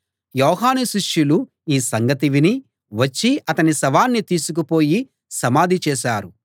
యోహాను శిష్యులు ఈ సంగతి విని వచ్చి అతని శవాన్ని తీసుకుపోయి సమాధి చేశారు